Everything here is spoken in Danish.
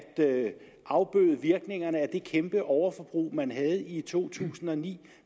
afbøde virkningerne af det kæmpe overforbrug man havde i to tusind og ni